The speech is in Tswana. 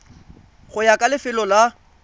go ya ka lefelo la